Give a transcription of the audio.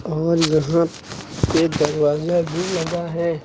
और यहां पे दरवाजा भी लगा है।